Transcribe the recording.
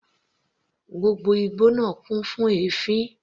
Gbogbo igbó náà kún fún èéfín.